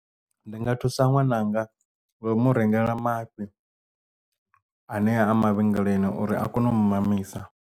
Ndi nga thusa ṅwananga ngo umu rengela mafhi anea a mavhengeleni uri a kone u mu mamisa.